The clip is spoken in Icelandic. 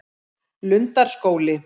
Lundarskóli